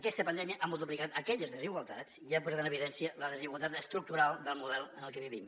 aquesta pandèmia ha multiplicat aquelles desigualtats i ha posat en evidència la desigualtat estructural del model en el que vivim